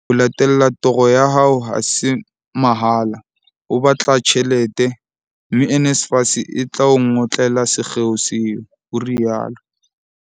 "Ke kgothaletsa batjha ho etsa dikopo tsa matlole a NSFAS hobane ho latella toro ya hao ha se mahala, ho batla tjhelete, mme NSFAS e tla o ngotlela sekgeo seo," o rialo.